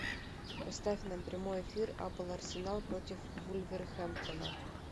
поставь нам прямой эфир апл арсенал против вулверхэмптона